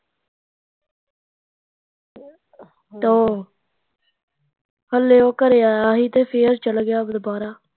ਤੇ ਉਹ ਹਲੂ ਘਰੇ ਆਇਆ ਸੀ ਤੇ ਫੇਰ ਚੱਲ ਗਿਆ ਦਵਾਰਾਂ